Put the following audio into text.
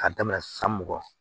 K'a daminɛ san mugan